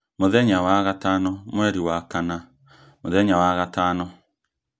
mũthenya wa gatano mweri wa kana mũthenya wa gatano